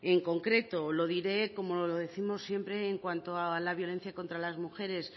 en concreto lo diré como lo décimos siempre en cuanto a la violencia contra las mujeres